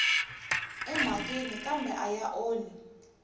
emhakeni kambe a ya onhi